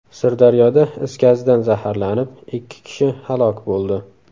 Sirdaryoda is gazidan zaharlanib, ikki kishi halok bo‘ldi.